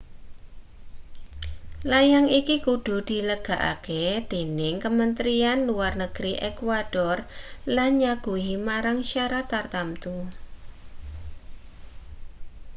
layang iki kudu dilegalake dening kementrian luar negeri ekuador lan nyaguhi marang syarat tartamtu